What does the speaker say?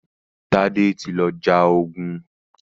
Tade tí lọ já ògún.